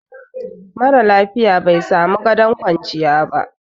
mara lafiya bai samu gadon kwanciya ba